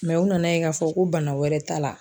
mɛ o nana ye k'a fɔ ko bana wɛrɛ t'a la